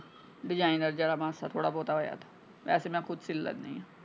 Designer ਜਿਹੜਾ ਮਾਸਾ ਥੋੜਾ ਬਹੁਤਾ ਹੋਇਆ ਵੈਸੇ ਮੈਂ ਖੁਦ ਸੀ ਲੈਣੀ।